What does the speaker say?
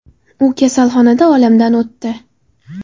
U kasalxonada olamdan o‘tdi.